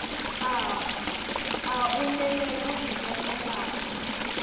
a o memele ho kenela